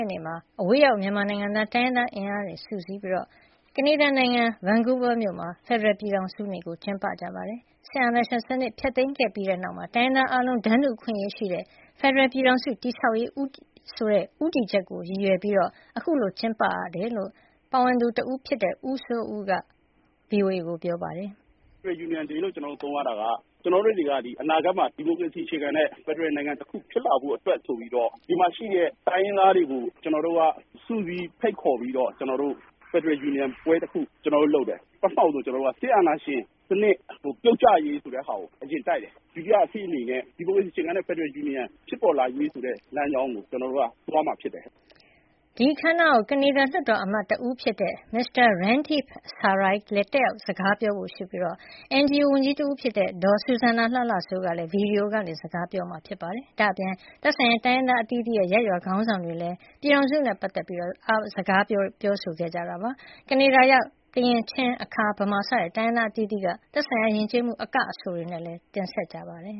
က်နေ့မှာ အဝေးရောက်မြန်မာနိုင်ငံသားတိုင်းရင်းသားအင်အားစုတွေစုစည်းပြီး ကနေဒါနိုင်ငံ ဘန်ကူးဗားမြို့မှာ ဖက်ဒရယ်ပြည်ထောင်စုနေ့ကျင်းပကြပါတယ်။ စစ်အာဏာရှင်စနစ်ဖျက်သိမ်းပြီးနောက် တိုင်းရင်းသားအားလုံးတန်းတူအခွင့်အရေးရှိတဲ့ ဖက်ဒရယ်ပြည်ထောင်စု တည်ဆောက်ရေးဆိုတဲ့ဦးတည်ချက်ကိုရည်ရွယ်ပြီး အခုလိုကျင်းပရတာဖြစ်တယ်လို့-ရည်ရွယ် ချက်ကို ဦးဆောင်ပါဝင်သူတဦးဖြစ်တဲ့ကိုစိုးဦးက VOA ကိုပြောပြခဲ့ပါတယ်။ “Federal Union Day လို့ သုံးရတာက ကျနော်တို့တွေက အနာဂတ်မှာ ဒီမိုကရေစီအခြေခံတဲ့ ဖက်ဒရယ်နိုင်ငံတခုဖြစ်လာဖို့အတွက် ဆိုပြီးတော့ ဒီမှာရှိနေတဲ့တိုင်းရင်းသားတွေကို ကျနော်တို့က စုစည်းဖိတ်ခေါ်ပြီးတော့ ဖက်ဒရယ်ယူနီယံပွဲတခုလုပ်တယ်။ စစ်အာဏာရှင်စနစ် ပြုတ်ကျရေးဆိုတဲ့ဟာကို အရင်တိုက်တယ်။ ဒုတိယအနေနဲ့ ဒီမိုကရေစီအခြေခံတဲ့ဖက်ဒရယ်ယူနီယံဖြစ်ပေါ်လာရေးဆိုတဲ့လမ်းကြောင်းကို သွားမှာဖြစ်တယ်။” ဒီအခမ်းအနားကို ကနေဒါလွှတ်တော်မတ်တဦးဖြစ်တဲ့ Mr. Randeep Sarai လည်း တက်ရောက်စကားပြောဖို့ရှိနေပြီး NGU ဝန်ကြီးတဦးဖြစ်တဲ့ ဒေါ်စူဇန်နာလှလှစိုးကလည်း ဗီဒီယိုကနေစကားပြောဆိုမှာဖြစ်ပါတယ်။ ဒါ့အပြင် သက်ဆိုင်ရာ တိုင်းရင်းသားအသီးသီးရဲ့ရပ်ရွာခေါင်းဆောင်တွေကလည်း ပြည်ထောင်စုနဲ့ ပတ်သက်ပြီးစကားပြောဆိုခဲ့ကြပါတယ်။ ကနေဒါရောက် ကရင်၊ ချင်း၊ အခါ၊ ဗမာ စတဲ့တိုင်းရင်းသားအသီးသီးက သက်ဆိုင်ရာယဉ်ကျေးမှု အက၊ အဆိုများလည်း ဒီပွဲမှာ တင်ဆက်ကြပါတယ်